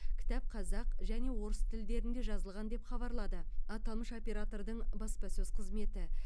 кітап қазақ және орыс тілдерінде жазылған деп хабарлады аталмыш оператордың баспасөз қызметі